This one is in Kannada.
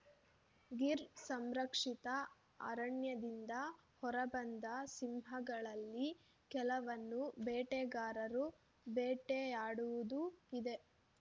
ಗಿರ್‌ ಸಂರಕ್ಷಿತ ಅರಣ್ಯದಿಂದ ಹೊರಬಂದ ಸಿಂಹಗಳಲ್ಲಿ ಕೆಲವನ್ನು ಬೇಟೆಗಾರರು ಬೇಟೆಯಾಡುವುದೂ ಇದೆ